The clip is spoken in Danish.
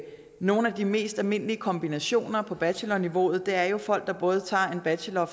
nogle af de mest almindelige kombinationer på bachelorniveau er jo folk der både tager en bachelor